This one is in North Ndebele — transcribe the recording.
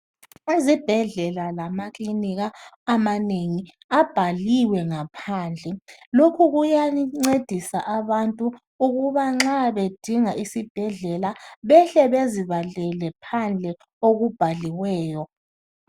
Izibhedlela lamakilinika amanengi abhaliwe ngaphandle lokhu kuyancedisa abantu ukuba nxa bedinga isibhedlela behle bezibalele phandle okubhaliweyo.